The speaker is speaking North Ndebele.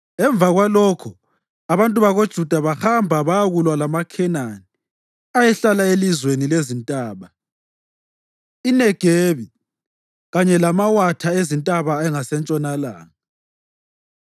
Emva kwalokho, abantu bakoJuda bahamba bayakulwa lamaKhenani ayehlala elizweni lezintaba, iNegebi kanye lamawatha ezintaba angasentshonalanga.